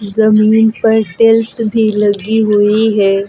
जमीन पर टाइल्स भी लगी हुई है।